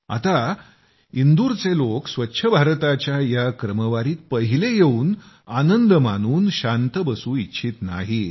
आता इंदूरचे लोक स्वच्छ भारताच्या या क्रमवारीत पहिले येऊन आनंद मानून शांत बसू इच्छित नाहीत